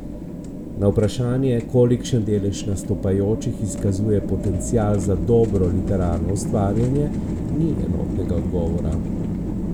Na vprašanje, kolikšen delež nastopajočih izkazuje potencial za dobro literarno ustvarjanje, ni enotnega odgovora.